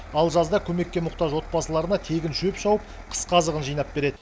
ал жазда көмекке мұқтаж отбасыларына тегін шөп шауып қысқы азығын жинап береді